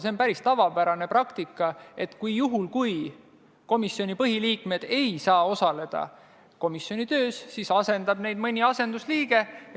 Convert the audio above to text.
See on päris tavapärane praktika, et juhul, kui komisjoni põhiliikmed ei saa komisjoni töös osaleda, siis asendab neid mõni asendusliige.